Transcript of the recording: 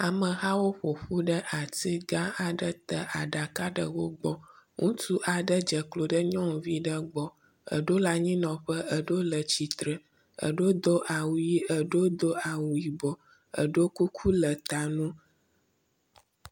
Amehawo ƒoƒu ɖe atigã aɖe te, aɖaka ɖe wogbɔ, ŋutsu aɖe dzeklo ɖe nyɔnuvi ɖe gbɔ, eɖo le anyinɔƒe, eɖo le tsitre, eɖo do awu yi, eɖo do awu yibɔ, eɖo kuku le ta no